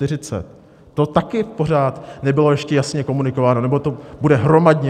To taky pořád nebylo ještě jasně komunikováno, nebo to bude hromadně?